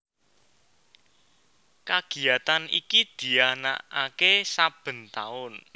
Kagiyatan iki dianakake saben taun